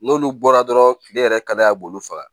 N'olu bɔra dɔrɔn ne yɛrɛ kada b'olu faga